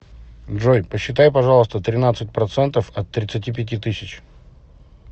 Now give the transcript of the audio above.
джой посчитай пожалуйста тринадцать процентов от тридцати пяти тысяч